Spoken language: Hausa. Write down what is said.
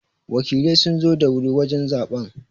Wakilai sun zo da wuri wajen zaɓen.